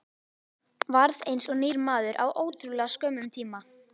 Varð eins og nýr maður á ótrúlega skömmum tíma.